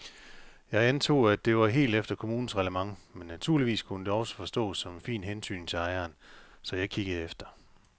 Jeg antog, at det var helt efter kommunens reglement men naturligvis kunne det også forstås som en fin hentydning til ejeren, så jeg kiggede efter.